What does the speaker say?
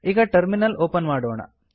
ಈಗ terminal open ಮಾಡೋಣ